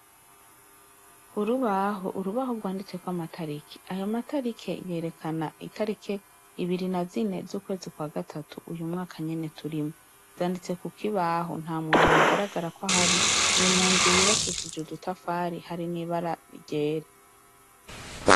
Urubaho, urubaho rwanditseko amatarike, ayo matariki yerekana itariki ibiri na zine z'ukwezi kwa gatatu uyu mwaka nyene turimwo, zanditse kukibaho, nta muntu ahagaragara kwahari, ni munzu yubakishije udutafari, hari n'ibara ryera.